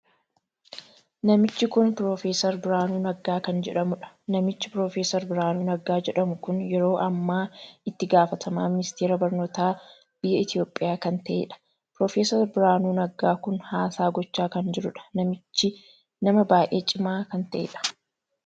Namichu kun piroofeser Biraanuu Naggaa kan jedhamudha. namichi piroofeser Biraanuu Naggaa jedhamu kun yeroo ammaa itti gaafatamaa ministeera barnootaa biyya Itoophiyaa kan taheedha. piroofeser Biraanuu Naggaa kun haasaa gochaa kan jiruudha. namichi nama baay'ee cimaa kan taheedha.